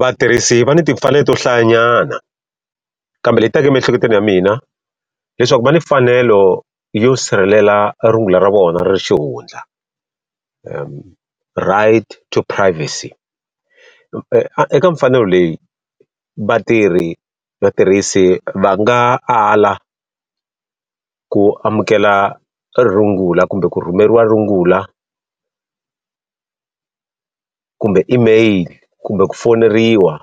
Vatirhisi va ni timfanelo to hlayanyana. Kambe leri ti taka emiehleketweni ya mina, leswaku va ni mfanelo yo sirhelela rungula ra vona ra xihundla. Right to privacy. Eka mfanelo leyi vatirhi vatirhisi va nga ala ku amukela rungula kumbe ku rhumeriwa rungula kumbe email, kumbe ku fowuneriwa,